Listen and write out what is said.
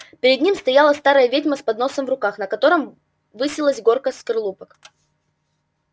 перед ним стояла старая ведьма с подносом в руках на котором высилась горка скорлупок